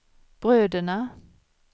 bröderna